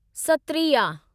Sattriya